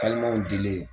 dilen